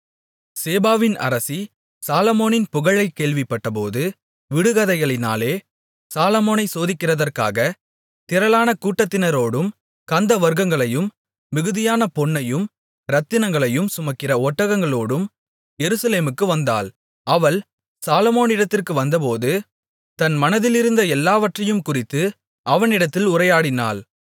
சேபாவின் அரசி சாலொமோனின் புகழைக் கேள்விப்பட்டபோது விடுகதைகளினாலே சாலொமோனை சோதிக்கிறதற்காக திரளான கூட்டத்தினரோடும் கந்தவர்க்கங்களையும் மிகுதியான பொன்னையும் இரத்தினங்களையும் சுமக்கிற ஒட்டகங்களோடும் எருசலேமுக்கு வந்தாள் அவள் சாலொமோனிடத்திற்கு வந்தபோது தன் மனதிலிருந்த எல்லாவற்றையும் குறித்து அவனிடத்தில் உரையாடினாள்